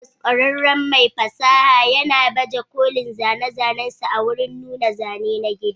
Badmus, ƙwararren mai fasaha, yana baje kolin zane-zanensa a wurin nuna zane na gida.